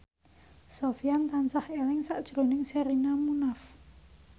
Sofyan tansah eling sakjroning Sherina Munaf